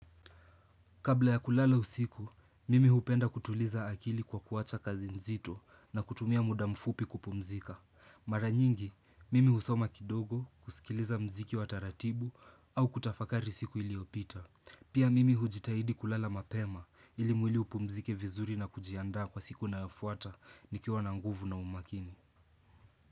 Kabla ya kulala usiku, mimi hupenda kutuliza akili kwa kuwacha kazi nzito na kutumia muda mfupi kupumzika. Mara nyingi, mimi husoma kidogo kusikiliza mziki wa taratibu au kutafakari siku iliyopita. Pia mimi hujitahidi kulala mapema ili mwili upumzike vizuri na kujiandaa kwa siku inayofuata nikiwa na nguvu na umakini.